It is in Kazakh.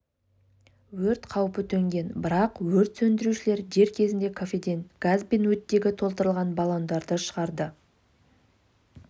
өрт қаупі төнген бірақ өрт сөндірушілер дер кезінде кафеден газ бен оттегі толтырылған баллондарды шығарды